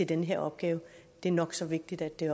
den her opgave er nok så vigtigt det